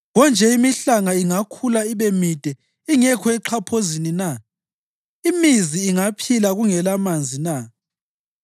Konje imihlanga ingakhula ibe mide ingekho exhaphozini na? Imizi ingaphila kungelamanzi na?